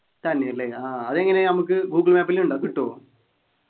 തന്നെല്ലേ ആഹ് അതെങ്ങനെ നമുക്ക് ഗൂഗിൾ മാപ്പിൽ ഉണ്ടോ കോട്ടി